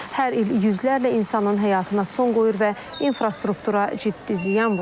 Hər il yüzlərlə insanın həyatına son qoyur və infrastruktura ciddi ziyan vurur.